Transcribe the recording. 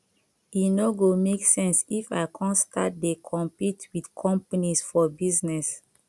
e no go make sense if i come start dey compete with companies for business